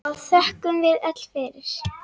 og þökkum við öll fyrir.